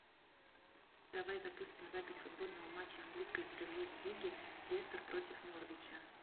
давай запустим запись футбольного матча английской премьер лиги лестер против норвича